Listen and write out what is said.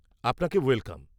-আপনাকে ওয়েলকাম।